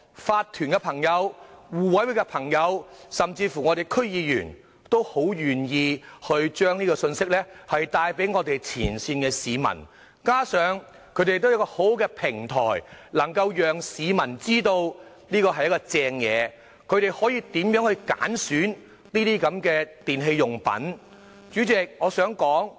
法團和互委會的朋友，甚至我們區議員，都很願意將信息帶給市民，加上他們亦有很好的平台，能夠讓市民知道這是一項好政策，教導市民如何去選擇電器產品。